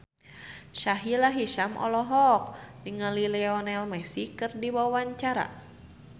Sahila Hisyam olohok ningali Lionel Messi keur diwawancara